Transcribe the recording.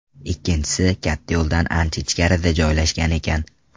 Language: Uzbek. Ikkinchisi katta yo‘ldan ancha ichkarida joylashgan ekan.